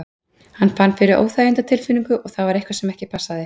Hann fann fyrir óþægindatilfinningu og það var eitthvað sem ekki passaði.